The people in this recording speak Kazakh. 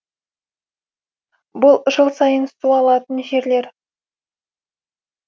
бұл жыл сайын су алатын жерлер